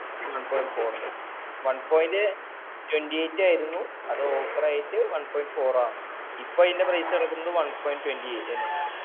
one point four ന് one point twenty eight ആയിരുന്നു അത് offer ആയിറ്റ് one point four ആന്ന് ഇപ്പൊ അതിന്റെ price കെടക്കണത് one point twenty eight തന്നെയാണ്‌